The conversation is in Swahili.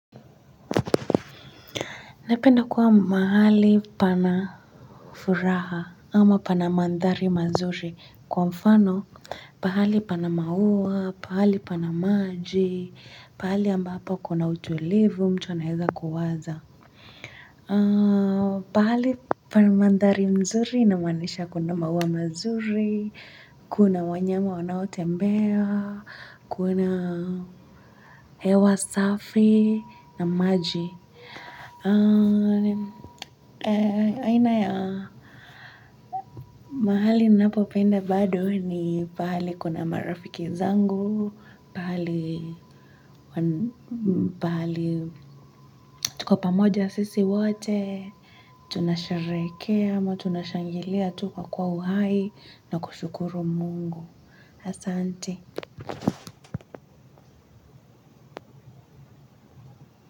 Napenda kuwa mahali pana furaha ama pana mandhari mazuri kwa mfano, pahali pana maua, pahali pana maji, pahali ambapo kuna utulivu mtu anaweza kuwaza. Ah, pahali pana mandhari mzuri inamaanisha kuna maua mazuri, kuna wanyama wanaotembea, kuna hewa safi na maji. Aina ya mahali ninapopenda bado ni pahali kuna marafiki zangu. Pahali tuko pamoja sisi wote tunasherehekea ama tunashangilia tu kwa kuwa uhai na kushukuru Mungu asante.